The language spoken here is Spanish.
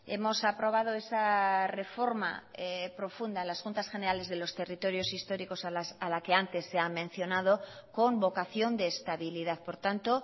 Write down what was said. hemos aprobado esa reforma profunda en las juntas generales de los territorios históricos a la que antes se ha mencionado con vocación de estabilidad por tanto